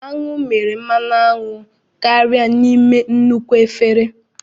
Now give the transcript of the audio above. Aṅụ mere mmanụ aṅụ karịa n'ime nnukwu efere